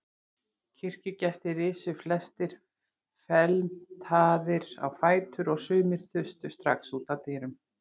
Kirkjugestir risu flestir felmtraðir á fætur og sumir þustu strax út að dyrunum.